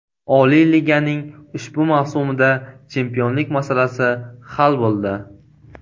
Oliy liganing ushbu mavsumida chempionlik masalasi hal bo‘ldi.